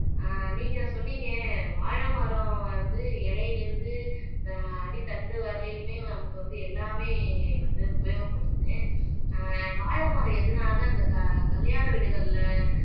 ஆஹ் நீங்க சொன்னீங்க வாழைமரம் வந்து இலையில இருந்து ஆஹ் அடி தண்டு வரையிலுமே நமக்கு வந்து எல்லாமே வந்து உபயோகப்படுத்துது. ஆஹ் வாழைமரம் எதனால இந்த க கல்யாண வீடுகள்ல